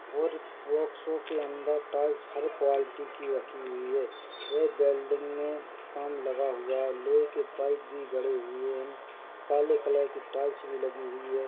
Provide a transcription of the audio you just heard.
और workshop के अंदर टाइल्स हरे क्वालिटी की रखी हुई है ये बिल्डिंग मे काम लगा हुआ है लोहे के पाइप भी गड़े हुए है काले कलर की टाइल्स भी लगी हुई है।